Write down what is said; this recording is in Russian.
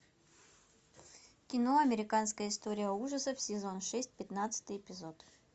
кино американская история ужасов сезон шесть пятнадцатый эпизод